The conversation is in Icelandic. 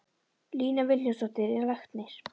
Lína Vilhjálmsdóttir er læknir.